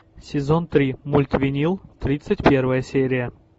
сезон три мульт винил тридцать первая серия